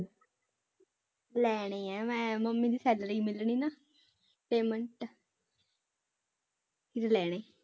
ਲੈਣੇ ਹੈ ਮੈਂ ਮੰਮੀ ਦੀ salary ਮਿਲਣੀ ਨਾ payment ਲੈਣੇ